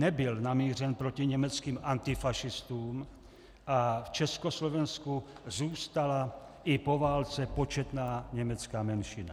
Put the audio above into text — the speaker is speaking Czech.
Nebyl namířen proti německým antifašistům a v Československu zůstala i po válce početná německá menšina.